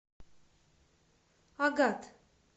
агат